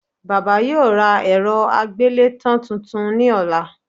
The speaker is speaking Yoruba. Bàbá yóò ra èrọ àgbélétàn tuntun ní ọ̀la